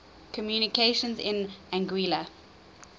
communications in anguilla